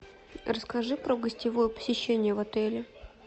расскажи про гостевое посещение в отеле